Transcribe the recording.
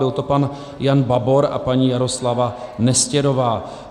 Byl to pan Jan Babor a paní Jaroslava Nestěrová.